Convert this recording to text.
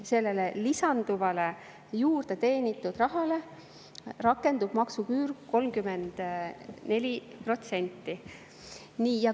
Sellele lisanduvale, juurde teenitud rahale rakendub maksuküür 34%.